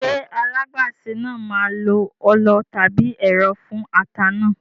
Ṣé alágbàsè náà máa lo ọlọ tàbí ẹ̀rọ fún ata náà?